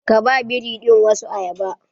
Ka ba biri ɗin wasu ayaba!